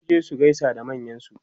sun je su gaisa da manyansu